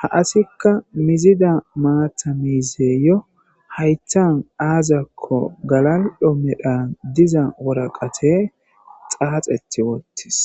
ha asikka mizida maatamiizeyo hayttan aazakko galaldho medhan diza woraqate xaaxeti wottis